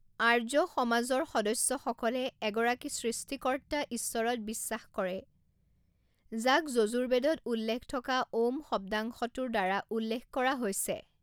আৰ্য সমাজৰ সদস্যসকলে এগৰাকী সৃষ্টিকৰ্তা ঈশ্বৰত বিশ্বাস কৰে যাক যজুৰ্বেদত উল্লেখ থকা 'ওঁম' শব্দাংশটোৰ দ্বাৰা উল্লেখ কৰা হৈছে।